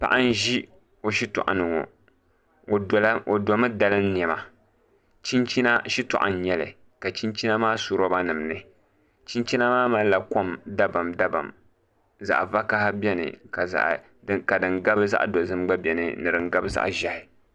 Paɣa n ʒi o shitoɣu ni ŋo o domi dalim niɛma chinchina shitoɣu n nyɛli ka chinchina maa su roba nim ni chinchina maa malila kom dabam dabam zaɣ vakaɣa biɛni ka din gabi zaɣ dozim gba biɛni ni din gabi zaɣ ʒiɛhi